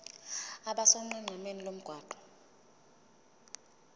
abe sonqenqemeni lomgwaqo